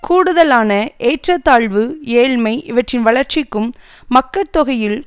கூடுதலான ஏற்றத்தாழ்வு ஏழ்மை இவற்றின் வளர்ச்சிக்கும் மக்கட்தொகையில்